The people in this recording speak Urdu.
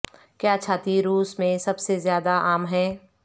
کیا چھاتی روس میں سب سے زیادہ عام ہیں